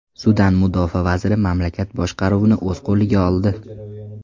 Sudan mudofaa vaziri mamlakat boshqaruvini o‘z qo‘liga oldi .